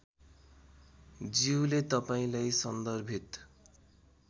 ज्यूले तपाँईलाई सन्दर्भित